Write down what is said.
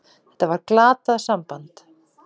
Þetta var glatað samband.